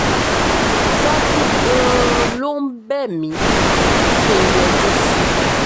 ṣàfù gan-an ló ń bẹ̀ mí kí n yọjú sí i